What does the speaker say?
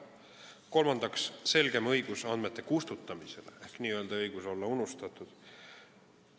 Kolmandaks, selgem õigus andmete kustutamisele ehk n-ö õigus olla unustatud.